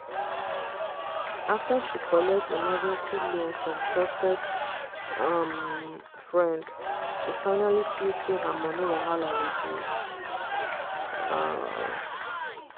after she collect emergency loan from trusted um friend she finally feel say her money wahala reduce. um